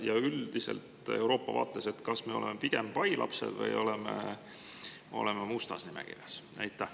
Kas me oleme Euroopa vaates üldiselt pigem pailapsed või oleme mustas nimekirjas?